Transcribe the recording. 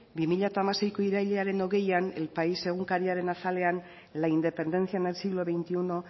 bi mila hamaseiko irailaren hogeian el pais egunkariaren azalean la independencia en el siglo veintiuno